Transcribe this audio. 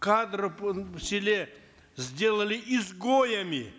кадры на селе сделали изгоями